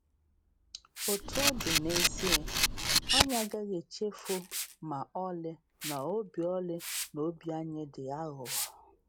Etu ọ dị, n’ezie, anyị agaghị echefu ma ọlị na obi ọlị na obi anyị dị aghụghọ.